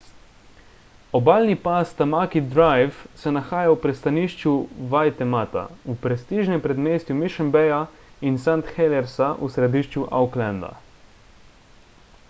obalni pas tamaki drive se nahaja v pristanišču waitemata v prestižnem predmestju mission bayja in st heliersa v središču aucklanda